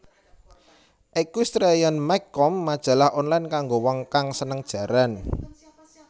EquestrianMag com Majalah online kanggo wong kang seneng jaran